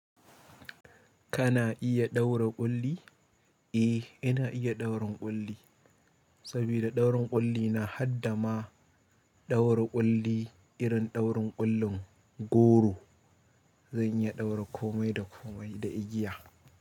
Kana iya ɗaura ƙulli? Eh, ina iya ɗaurin ƙulli, sabida ɗaurin ƙulli na haɗa ma ɗaura ƙulli irin ɗaurin ƙullin goro. Zan iya ɗaura komai da komai da igiya.